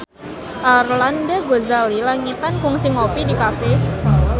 Arlanda Ghazali Langitan kungsi ngopi di cafe